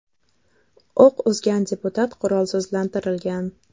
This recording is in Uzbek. O‘q uzgan deputat qurolsizlantirilgan.